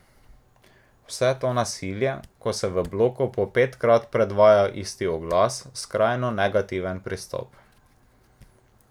Vse to nasilje, ko se v bloku po petkrat predvaja isti oglas, skrajno negativen pristop.